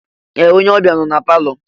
Ee! Onye ọbịa nọ na palọ.